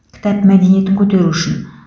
кітап мәдениетін көтеру үшін